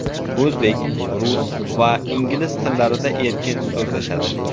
O‘zbek, rus va ingliz tillarida erkin so‘zlashadi.